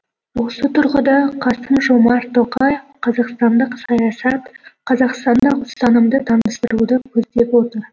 осы тұрғыда қасым жомарт тоқаев қазақстандық саясат қазақстандық ұстанымды таныстыруды көздеп отыр